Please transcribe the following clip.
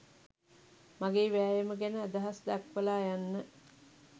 මගේ වෑයම ගැන අදහස් දක්වලා යන්න